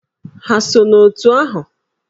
Ha so n'òtù ahụ?